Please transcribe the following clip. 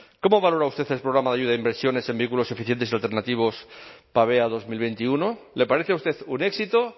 cómo valora usted el programa de ayuda a inversiones en vehículos eficientes y alternativos pavea dos mil veintiuno le parece a usted un éxito